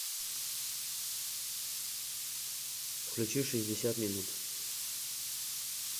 включи шестьдесят минут